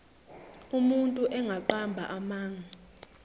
umuntu engaqamba amanga